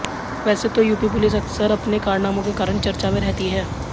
वैसे तो यूपी पुलिस अकसर अपने कारनामों के कारण चर्चा में रहती है